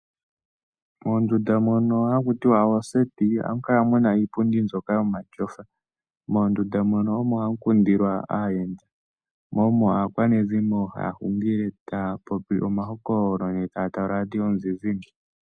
Mondunda mono haku tiwa oseti oha mu kala mu na iipundi mbyoka yomatyofa. Moondunda mono omo ha mu kundilwa aayenda mo omo aakwanezimo haya hungile taya popi omahokololo yo taya tala oradio yomuzizimbe.